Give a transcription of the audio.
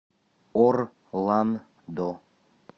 орландо